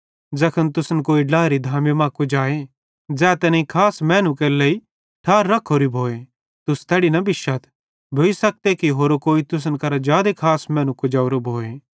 ज़ैखन तुसन कोई ड्लाएरी धामी मां कुजाए ज़ै तैनेईं खास मैनू केरे लेइ ठार रख्खोरी भोए तुस तैड़ी न बिश्शथ भोइ सखते कि होरो कोई तुसन करां जादे खास मैनू कुजेवरो भोए